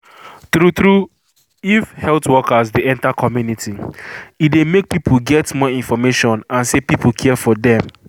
true true if health workers dey enter community e dey make people get more information and se people care for dem